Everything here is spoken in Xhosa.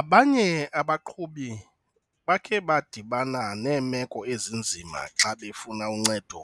Abanye abaqhubi bakhe badibana neemeko ezinzima xa befuna uncedo